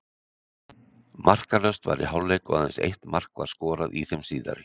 Markalaust var í hálfleik og aðeins eitt mark var skorað í þeim síðari.